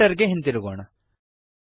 editor ಗೆ ಹಿಂದಿರುಗೋಣ